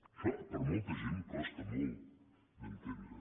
això per molta gent costa molt d’entendre